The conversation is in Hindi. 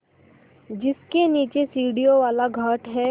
जिसके नीचे सीढ़ियों वाला घाट है